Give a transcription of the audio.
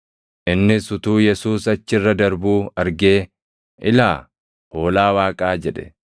Innis utuu Yesuus achi irra darbuu argee, “Ilaa, Hoolaa Waaqaa!” jedhe.